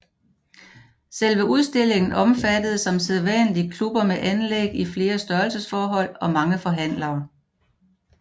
Selve udstillingen omfattede som sædvanligt klubber med anlæg i flere størrelsesforhold og mange forhandlere